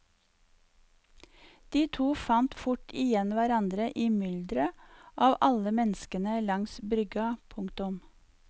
De to fant fort igjen hverandre i myldret av alle menneskene langs brygga. punktum